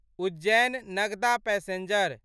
Ujjain Nagda passenger